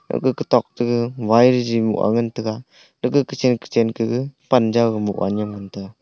gaga kutok ga wire jing ah ngan taga aga kochen kochen kaga panjaw gamoh ga nyem ngan taga.